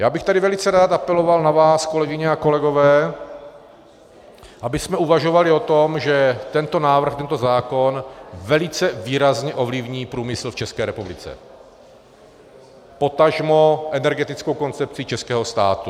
Já bych tady velice rád apeloval na vás, kolegyně a kolegové, abychom uvažovali o tom, že tento návrh, tento zákon velice výrazně ovlivní průmysl v České republice, potažmo energetickou koncepci českého státu.